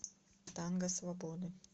танго свободы